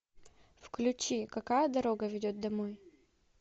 включи какая дорога ведет домой